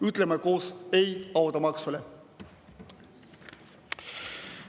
Ütleme koos ei automaksule!